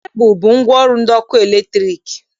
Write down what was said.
Kebụl bụ ngwaọrụ ndị ọkụ latriki